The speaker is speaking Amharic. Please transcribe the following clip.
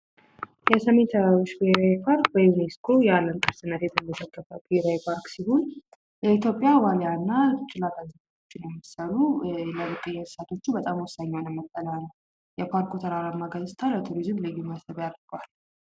የሰሜን ተራሮች ብሔራዊ ፓርክ በዩኒስኮ የአለም ቅርስነት የተመዘገበ ብሔራዊ ፓርክ ሲሆን የኢትዮጵያ ዋልያ እና ጭላዳ ዝንጀሮ የመሰሉ የብርቅየ እንስሳቶችን ወሳኝ የሆነ መጠለያ ነዉ ። የፓርኩ ተራራማ ገጽታ ለቱሪዝም ልዩ መስብ ያደርገዋል።